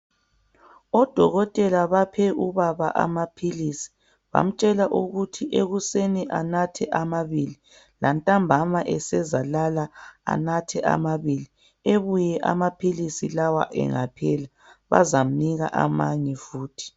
Odokotela baphe ubaba amaphilisi bamtshela ukuthi ekuseni anathe amabili lantambama esezalala anathe amabili ebuye amaphilisi lawa engaphela bazamnika amanye futhi